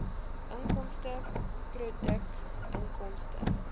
inkomste produkinkomste